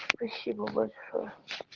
спасибо большое